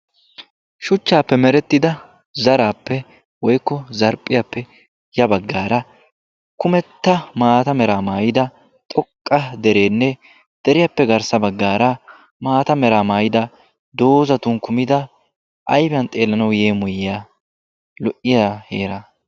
shuchchaappe merettida zaraappe woykko zarphiyaappe ya bagaara kummetta maata meraa maayida xoqqqa derenne ha deriyaappe maata meraa maayidda ayfiyan xeellanawu lo'iya heeraa.